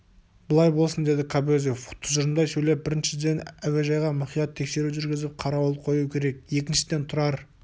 былай болсын деді кобозев тұжырымдай сөйлеп біріншіден әуежайға мұқият тексеру жүргізіп қарауыл қою керек екіншіден тұрар